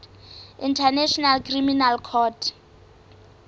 international criminal court